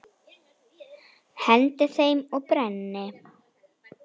Hendi þeim og brenni.